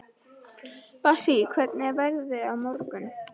Bassí, hvernig er veðrið á morgun?